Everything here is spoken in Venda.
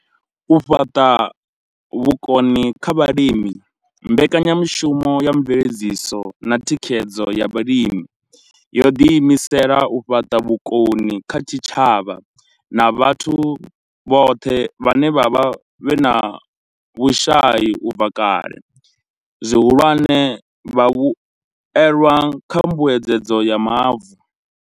U fhaṱa vhukoni kha vhalimi mbekanyamushumo ya mveledziso na thikhedzo ya vhalimi yo ḓi imisela u fhaṱa vhukoni kha zwitshavha na vhathu vhone vhaṋe vhe vha vha vhe na vhushai u bva kale, zwihulwane, vhavhuelwa kha mbuedzedzo ya mavu.